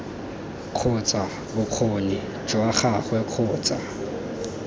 kgotsa bokgoni jwa gagwe kgotsa